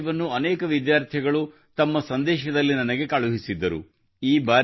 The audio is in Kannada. ಇದೇ ವಿಷಯವನ್ನು ಅನೇಕ ವಿದ್ಯಾರ್ಥಿಗಳು ತಮ್ಮ ಸಂದೇಶದಲ್ಲಿ ನನಗೆ ಕಳುಹಿಸಿದ್ದರು